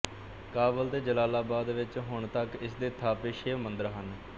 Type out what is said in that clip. ਕਾਬਲ ਤੇ ਜਲਾਲਾਬਾਦ ਵਿੱਚ ਹੁਣ ਤੱਕ ਇਸਦੇ ਥਾਪੇ ਸ਼ਿਵ ਮੰਦਰ ਹਨ